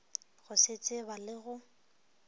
go se tseba le go